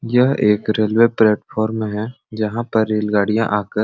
यह एक railway platform है जहाँ पर रेल गाड़ियां आकर--